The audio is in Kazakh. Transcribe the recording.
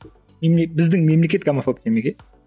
біздің мемлекет гомофоб демек иә